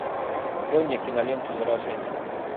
открой мне киноленту заражение